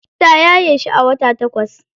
Ta yaye shi a wata takwas.